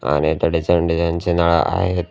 आणि त्याकडे चांगली त्यांची नळे आहेत.